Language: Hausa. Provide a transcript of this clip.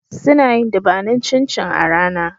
Suna yin dubanin cin cin a rana